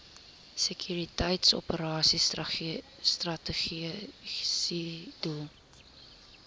sekuriteitsoperasies strategiese doel